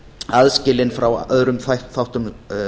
aðskilin frá öðrum þáttum